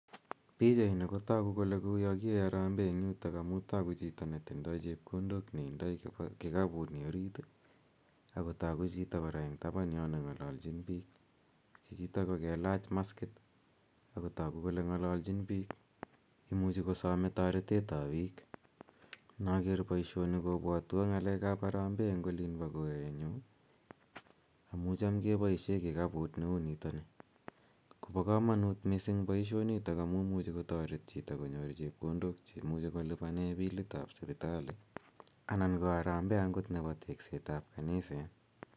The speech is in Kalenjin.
Pichaini ko toku kole uyo kiyoe harambee eng yutok amu toku chito ne tindoi chepkondok ne indoi kikapuni orit ii, ako toku chito kora eng taban yo ne ngololchin piik, chichito ko kelach maskit, akotoku kole ngalalchin piik ,imuchi kosome toretetab piik. Noker boisioni kobwotwo ngalekab harambee eng olin bo korenyu, amu cham keboisie kikaput neu nito ni, kobo kamanut mising boisionito amu muchi kotoret chito konyor chepkondok che imuchi kolipane bilitab sipitali anan ko harambee angot nebo teksetab kaniset.